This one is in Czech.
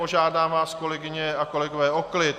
Požádám vás, kolegyně a kolegové o klid!